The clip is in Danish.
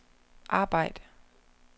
arbejd